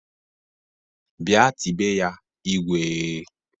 Bịa tibe ya "Igwee"!